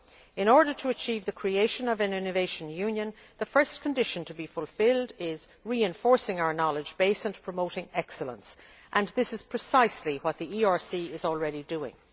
In order to achieve the creation of an innovation union, the first condition to be fulfilled is reinforcing our knowledge base and promoting excellence, and this is precisely what the ERC is already doing.